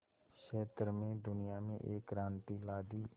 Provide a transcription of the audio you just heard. क्षेत्र में दुनिया में एक क्रांति ला दी